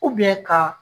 ka